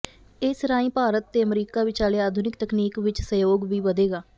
ਇਸ ਰਾਹੀਂ ਭਾਰਤ ਤੇ ਅਮਰੀਕਾ ਵਿਚਾਲੇ ਆਧੁਨਿਕ ਤਕਨੀਕ ਵਿੱਚ ਸਹਿਯੋਗ ਵੀ ਵਧੇਗਾ